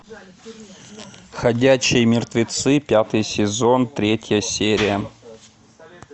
ходячие мертвецы пятый сезон третья серия